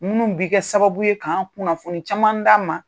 Munnu bi kɛ sababu ye kan kunnafoni caman d'an ma.